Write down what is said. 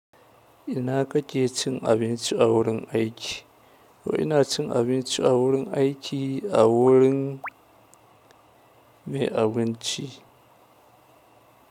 Ina kake cin abinci a wurin aiki? To ina cin abinci a wurin aiki a wurin mai abinci?